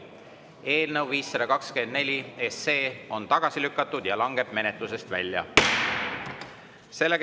Eelnõu 524 on tagasi lükatud ja langeb menetlusest välja.